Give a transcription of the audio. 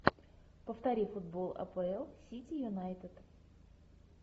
повтори футбол апл сити юнайтед